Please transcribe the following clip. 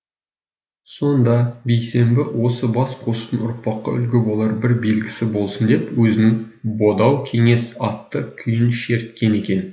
сонда бейсенбі осы бас қосудың ұрпаққа үлгі болар бір белгісі болсын деп өзінің бодау кеңес атты күйін шерткен екен